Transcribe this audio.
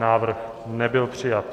Návrh nebyl přijat.